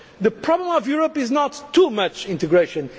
integration. The problem of Europe is not too